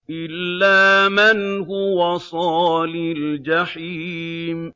إِلَّا مَنْ هُوَ صَالِ الْجَحِيمِ